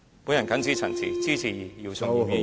我謹此陳辭，支持姚松炎議員的議案。